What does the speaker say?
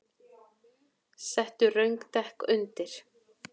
Settu röng dekk undir